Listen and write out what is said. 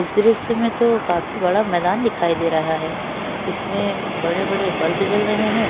इस दृश्य में तो काफी बड़ा मैदान दिखाई दे रहा है इसमें बड़े-बड़े बल्ब जल रहे हैं।